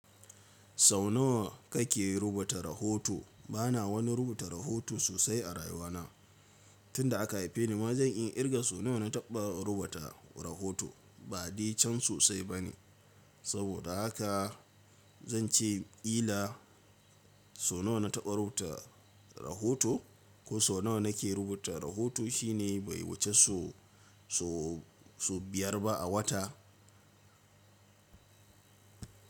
Sau nawa kake rubuta rahoto? Bana wani rubuta rahoto sosai a rayuwa na. Tun da aka haife ni ma zan iya kirga so nawa na taɓa rubuta rahoto. Ba de cen sosai bane. Saboda haka zan ce kila sau nawa na taɓa rubuta rahoto ko sau nawa nake rubuta rahoto shine bai wuce so- so- so biyar ba a wata.